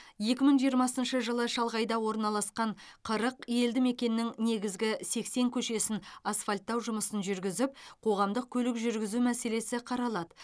екі мың жиымрмасыншы жылы шалғайда орналасқан қырық елді мекеннің негізгі сексен көшесін асфальттау жұмысын жүргізіп қоғамдық көлік жүргізу мәселесі қаралады